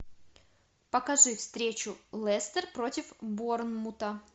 покажи встречу лестер против борнмута